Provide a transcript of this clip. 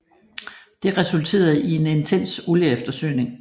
Det resulterede i en intens olieeftersøgning